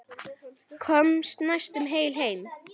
Komst næstum heil heim.